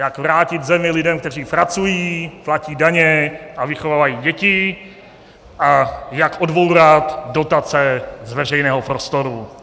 Jak vrátit zemi lidem, kteří pracují, platí daně a vychovávají děti, a jak odbourat dotace z veřejného prostoru.